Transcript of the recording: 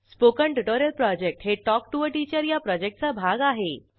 spoken tutorial project हे talk to teacher या प्रॉजेक्टचा भाग आहे